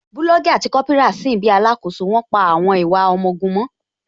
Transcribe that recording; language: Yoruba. Bulọọgi àti Kópírà sin bíi alakoso, wón pa àwọn ìwà àwọn ọmọ ogun mọ́